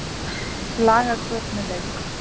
Laga göt með lauk